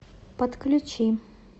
подключи